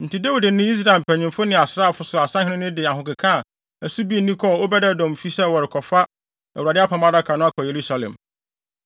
Enti Dawid ne Israel mpanyimfo ne asraafo so asahene no de ahokeka a ɛso bi nni kɔɔ Obed-Edom fi sɛ wɔrekɔfa Awurade Apam Adaka no akɔ Yerusalem.